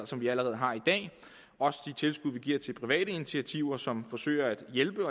som vi allerede har i dag også de tilskud vi giver til private initiativer som forsøger at hjælpe